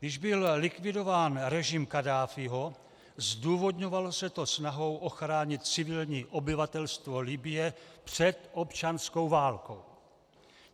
Když byl likvidován režim Kaddáfího, zdůvodňovalo se to snahou ochránit civilní obyvatelstvo Libye před občanskou válkou.